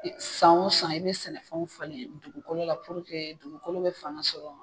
San o san i bɛ sɛnɛfɛnw falen dugukolo la dugukolo bɛ fanga sɔrɔ.